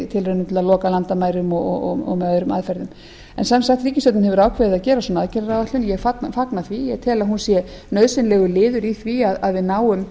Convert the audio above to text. að loka landamærum og með öðrum aðferðum en sem sagt ríkisstjórnin hefur ákveðið að gera svona aðgerðaáætlun ég fagna því og tel að hún sé nauðsynlegur liður í því að við náum